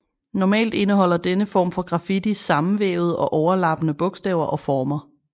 Normalt indeholder denne form for graffiti sammenvævede og overlappende bogstaver og former